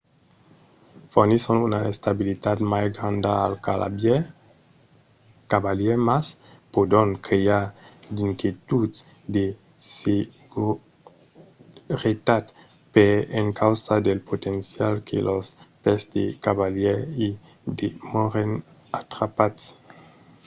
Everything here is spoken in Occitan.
fornisson una estabilitat mai granda al cavalièr mas pòdon crear d'inquietuds de seguretat per encausa del potencial que los pès del cavalièr i demòren atrapats